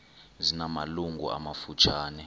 zina malungu amafutshane